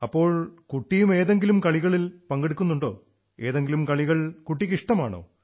അപ്പോൾ കുട്ടിയും ഏതെങ്കിലും കളികളിൽ പങ്കെടുക്കുന്നുേണ്ടാ ഏതെങ്കിലും കളികൾ കുട്ടിക്ക് ഇഷ്ടമാണോ